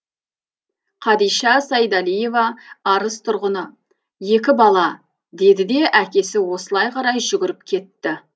қадиша сайдалиева арыс тұрғыны екі бала деді де әкесі осылай қарай жүгіріп кетті